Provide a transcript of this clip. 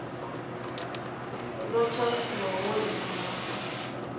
ḓo tshaisiwa wo ima hafho